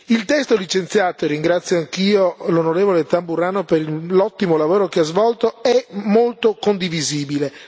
Il testo licenziato e ringrazio anch'io l'onorevole Tamburrano per l'ottimo lavoro che ha svolto è molto condivisibile.